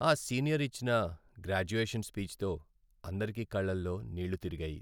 ఆ సీనియర్ ఇచ్చిన గ్రాడ్యుయేషన్ స్పీచ్తో అందరికీ కళ్లలో నీళ్ళు తిరిగాయి.